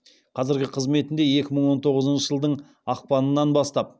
қазіргі қызметінде екі мың он тоғызыншы жылдың ақпанынан бастап